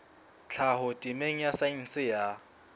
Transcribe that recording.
tlhaho temeng ya saense ya